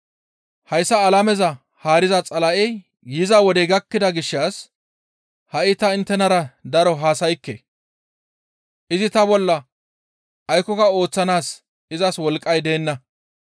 Hayssa alameza haariza Xala7ey yiza wodey gakkida gishshas ha7i ta inttenara daro haasaykke; izi ta bolla aykkoka ooththanaas izas wolqqay deenna.